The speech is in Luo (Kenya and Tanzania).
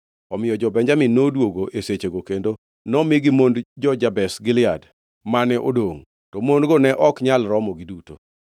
Omiyo jo-Benjamin noduogo e sechego kendo nomigi mond jo-Jabesh Gilead mane odongʼ. To mon-go ne ok nyal romogi duto.